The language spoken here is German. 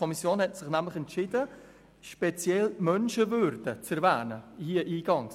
Die Kommission hat sich nämlich entschieden, hier eingangs speziell die Menschenwürde zu erwähnen.